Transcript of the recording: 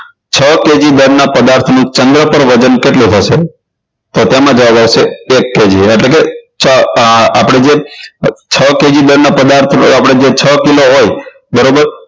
છ KG જે દળના પદાર્થનું ચંદ્ર પર વજન કેટલું થશે તો તેમાં જવાબ આવશે એક KG એટલે કે આપણે જે છ KG દળના પદાર્થ આપણે જે છ કિલો હોય બરાબર